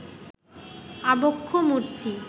আবক্ষ মূর্তি